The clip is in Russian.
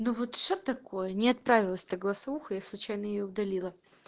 ну вот что такое не отправилась та голосовуха я случайно её удалила